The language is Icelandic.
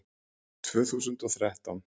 Tvö þúsund og þrettán